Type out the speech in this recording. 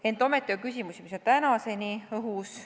Ent ometi on küsimusi, mis on tänini õhus.